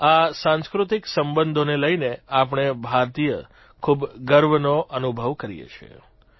આ સાંસ્કૃતિક સંબંધોને લઇને આપણે ભારતીય ખૂબ ગર્વનો અનુભવ કરીએ છીએ